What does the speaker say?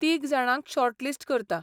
तीग जाणांक शॉर्टलिस्ट करता.